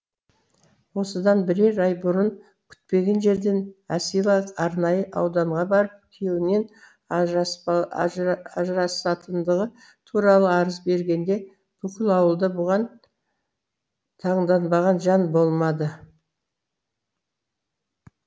осыдан бірер ай бұрын күтпеген жерден әсила арнайы ауданға барып күйеуінен ажырасатындығы туралы арыз бергенде бүкіл ауылда бұған таңданбаған жан болмады